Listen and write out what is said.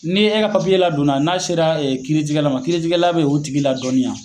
Ni e ka papiye la donna, n'a sera kiritigɛla ma, kiritigɛla bɛ o tigi la dɔɔninya